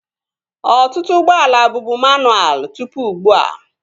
Ọtụtụ ụgbọala bụbu manualụ tụpụ ugbua